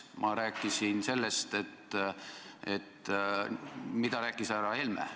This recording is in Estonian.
Ma rääkisin sellest, mida on rääkinud härra Helme.